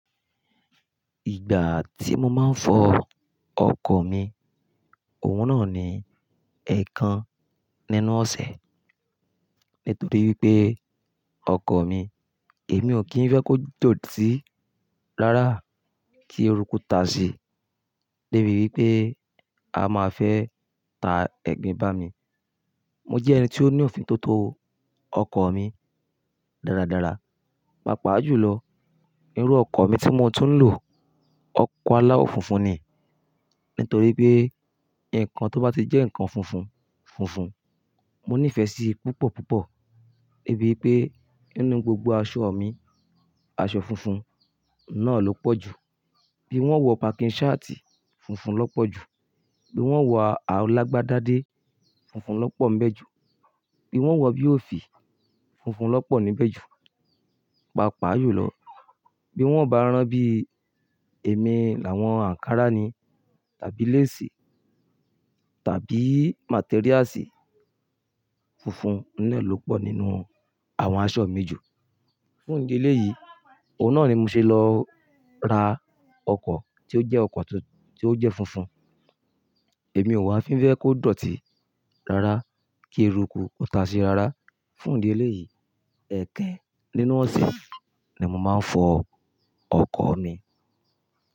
Ìgbà tí mo máa ń fọ ọkọ̀ mi, òun náà ni ẹ̀ẹ̀kan nínú ọ̀sẹ̀ nítorí wípé, ọkọ̀ mi, èmi ò kí ń fẹ́ kó dọ̀tí rárá kí erukú ta si débi wípé á máa fẹ́ ta ẹ̀gbin bá mi. Mo jẹ́ ẹni tí ó ní òfin tó tó ọkọ̀ mi dáradára. Pàápàá jù lọ, irú ọkọ̀ mi tí mo tún ń lò, ọkọ̀ aláwọ̀ funfun ni nítorí pé ǹkan tó bá ti jẹ́ ǹkan funfun funfun, mo nífẹ̀ẹ́ sí i púpọ̀ púpọ̀. Débi wípé nínú gbogbo aṣọ mi, aṣọ funfun náà ló pọ̀ jù. Bí n ó wọ pakin ṣáàtì, funfun ló pọ̀ jù, bí n ó wọ alágbádádé, funfun ló pọ̀ ńbẹ̀ jù, bí n ó wọ bí òfì, funfun ló pọ̀ níbẹ̀ jù. Pàápàá jù lọ, bí n ó bá rán bí èmi làwọn ànkárá ni, tàbí léèsì, tàbí màtériásì, funfun náà ló pọ̀ nínú àwọn aṣọ mi jù. Fún ìdí eléyìí, òun náà ni mo ṣe lọ ra ọkọ̀ tí ó jẹ́ ọkọ̀ tí ó jẹ́ funfun. Èmi ò wá fí ń fẹ́ kó dọ̀tí rárá kí eruku kó ta si rárá. Fún ìdí eléyìí, ẹ̀kan nínú ọ̀sẹ̀ ni mo máa ń fọ ọkọ̀ mi.